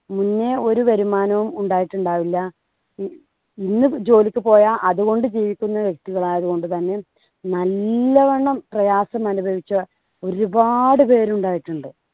മുന്നേ ഒരു വരുമാനവും ഉണ്ടായിട്ടുണ്ടാവില്ല. ഇ ഇന്ന് ജോലിക്ക് പോയാൽ അതുകൊണ്ട് ജീവിക്കുന്ന വ്യക്തികൾ ആയതുകൊണ്ട് തന്നെ നല്ലവണ്ണം പ്രയാസം അനുഭവിച്ച ഒരുപാട് പേരുണ്ടായിട്ടുണ്ട്.